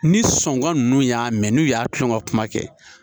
Ni sɔngɔ nunnu y'a mɛn n'u y'a tulon ka kuma kɛ